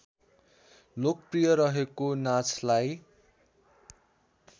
लोकप्रिय रहेको नाचलाई